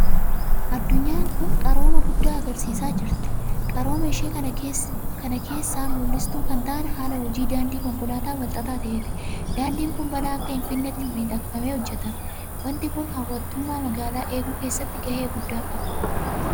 Addunyaan kun qarooma guddaa argisiisaa jirti. Qarooma ishee kana keessaa mul'istuu kan ta'an haala hojii daandii konkolaataa walxaxaa ta'eeti. Daandiin kun balaa akka hin fidnetti miidhakfamee hojjetama. Waanti kun hawwattummaa magaalaa eeguu keessattis gahee guddaa qaba.